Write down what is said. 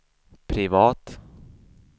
privat